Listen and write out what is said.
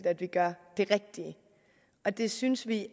at vi gør det rigtige og det synes vi